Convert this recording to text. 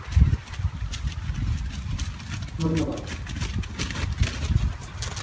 ধ্যনবাদ